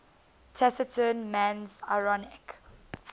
taciturn man's ironic